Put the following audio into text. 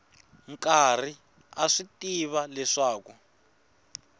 karhi a swi tiva leswaku